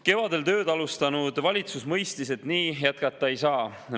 Kevadel tööd alustanud valitsus mõistis, et nii jätkata ei saa.